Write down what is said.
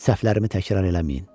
Səhvlərimi təkrar eləməyin.